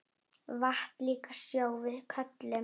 Vatn líka sjó við köllum.